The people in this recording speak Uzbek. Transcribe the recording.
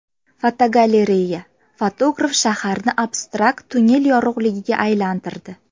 Fotogalereya: Fotograf shaharni abstrakt tunnel yorug‘ligiga aylantirdi.